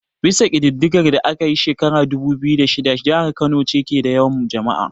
Bisa kididdigar da aka yi a shekarar dubu biyu da shida, jihar Kano ce ke da yawan jama'a.